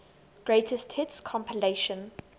greatest hits compilation